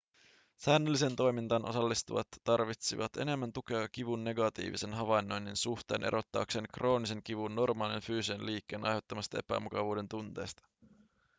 säännölliseen toimintaan osallistuvat tarvitsivat enemmän tukea kivun negatiivisen havainnoinnin suhteen erottaakseen kroonisen kivun normaalin fyysisen liikkeen aiheuttamasta epämukavuuden tunteesta